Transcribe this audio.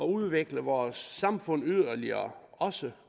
udvikle vores samfund yderligere også